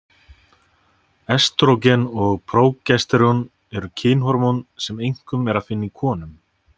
Estrógen og prógesterón eru kynhormón sem einkum er að finna í konum.